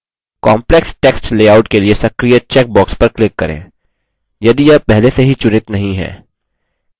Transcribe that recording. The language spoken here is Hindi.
complex text लेआउट के लिए सक्रिय check box पर click करें यदि यह पहले से ही चुनित नहीं है